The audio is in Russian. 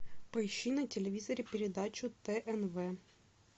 поищи на телевизоре передачу тнв